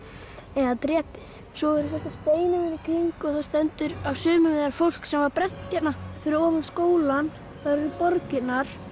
eða drepið svo eru í kring og stendur á sumum þeirra fólk sem var brennt hérna fyrir ofan skólann eru borgirnar